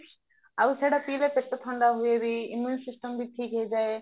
ଆଉ ସେଟା ପିଇଲେ ଥଣ୍ଡା ହୁଏ ବି immunity system ବି ଠିକ୍ ହେଇଯାଏ